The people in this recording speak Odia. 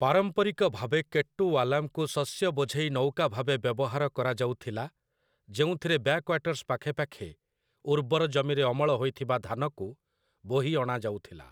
ପାରମ୍ପରିକ ଭାବେ କେଟ୍ଟୁୱାଲାମ୍‌କୁ ଶସ୍ୟ ବୋଝେଇ ନୌକା ଭାବେ ବ୍ୟବହାର କରାଯାଉଥିଲା, ଯେଉଁଥିରେ ବ୍ୟାକ୍‌ୱାଟର୍ସ୍ ପାଖେପାଖେ ଉର୍ବର ଜମିରେ ଅମଳ ହୋଇଥିବା ଧାନକୁ ବୋହି ଅଣାଯାଉଥିଲା ।